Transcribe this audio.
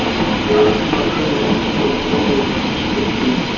Þú eignast örugglega einhverntíma bróður Ísbjörg mín.